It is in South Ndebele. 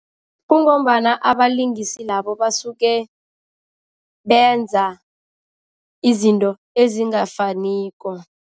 Kungombana abalingisi labo basuke benza izinto ezingafaniko.